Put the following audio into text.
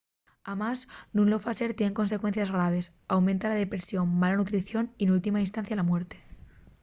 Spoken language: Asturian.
amás nun lo facer tien consecuencies graves: aumenta la depresión mala nutrición y n’última instancia la muerte